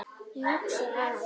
Ég hugsa að